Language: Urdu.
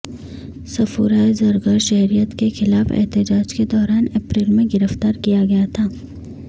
صفورہ زرگر شہریت کے خلاف احتجاج کے دوران اپریل میں گرفتار کیا گیا تھا